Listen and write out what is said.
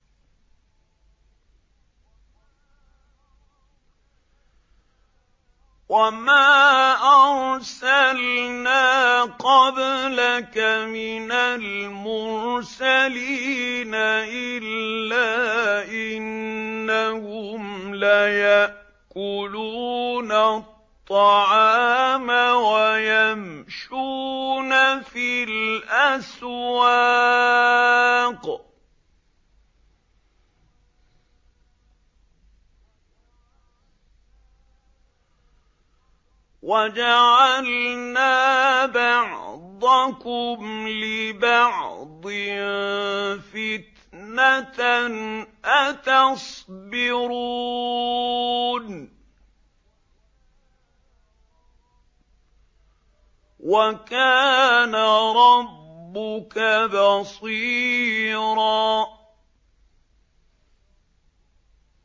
وَمَا أَرْسَلْنَا قَبْلَكَ مِنَ الْمُرْسَلِينَ إِلَّا إِنَّهُمْ لَيَأْكُلُونَ الطَّعَامَ وَيَمْشُونَ فِي الْأَسْوَاقِ ۗ وَجَعَلْنَا بَعْضَكُمْ لِبَعْضٍ فِتْنَةً أَتَصْبِرُونَ ۗ وَكَانَ رَبُّكَ بَصِيرًا